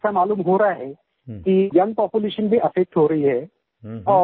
लेकिन ऐसा मालूम हो रहा है कि यंग पॉपुलेशन भी अफेक्ट हो रही है